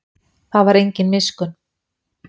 Það var engin miskunn.